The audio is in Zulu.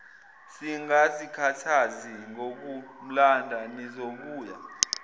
singazikhathazi ngokumlanda nizobuya